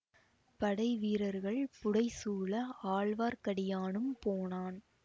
படை வீரர்கள் புடைசூழ ஆழ்வார்க்கடியானும் போனான்